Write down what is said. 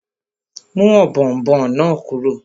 Mú ọ̀bọ̀ọ̀nbọọ̀n náà kúrò!